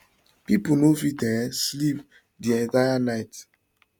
pipo no fit um sleep di entire night